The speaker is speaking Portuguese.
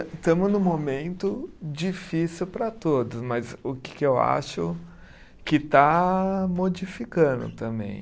Estamos num momento difícil para todos, mas o que que eu acho que está modificando também.